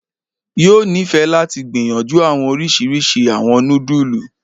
yoo nifẹ lati gbiyanju awọn oriṣiriṣi awọn nudulu.